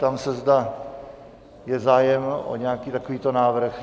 Ptám se, zde je zájem o nějaký takovýto návrh.